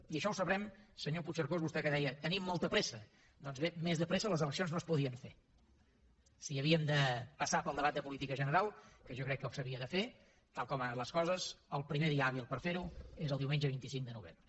i això ho sabrem senyor puigcercós vostè que deia tenim molta pressa doncs bé més de pressa les eleccions no es podien fer si havíem de passar pel debat de política general que jo crec que s’havia de fer tal com han anat les coses el primer dia hàbil per fer ho és el diumenge vint cinc de novembre